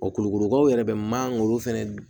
kulukorokaw yɛrɛ bɛ mangoro fɛnɛ